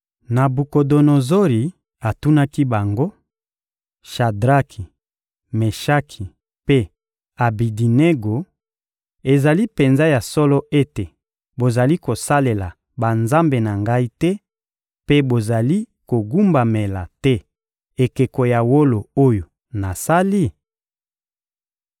Nabukodonozori atunaki bango: — Shadraki, Meshaki mpe Abedinego, ezali penza ya solo ete bozali kosalela banzambe na ngai te mpe bozali kogumbamela te ekeko ya wolo oyo nasali?